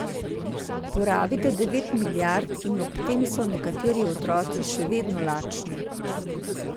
Porabite devet milijard in ob tem so nekateri otroci še vedno lačni.